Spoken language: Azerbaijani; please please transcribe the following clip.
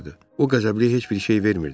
O qəzəbliyə heç bir şey vermirdi.